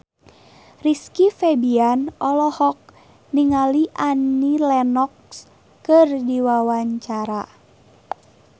Rizky Febian olohok ningali Annie Lenox keur diwawancara